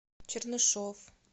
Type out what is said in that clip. чернышов